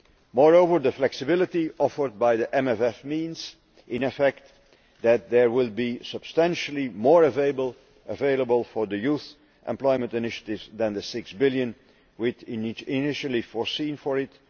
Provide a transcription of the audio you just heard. moreover, the flexibility offered by the MFF means, in effect, that there will be substantially more available for the Youth Employment Initiative than the EUR 6 billion we had initially foreseen for it